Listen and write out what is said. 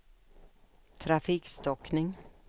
trafikstockning